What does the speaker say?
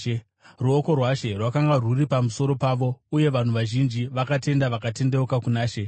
Ruoko rwaShe rwakanga rwuri pamusoro pavo, uye vanhu vazhinji vakatenda vakatendeukira kuna She.